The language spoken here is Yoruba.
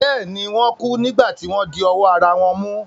Bẹ́ẹ̀ ni, Wọ́n kú nígbà tí wọ́n di ọwọ́ ara wọn mú.